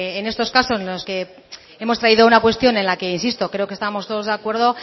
en estos casos en los que hemos traído una cuestión en la que insisto creo que estamos todos de acuerdo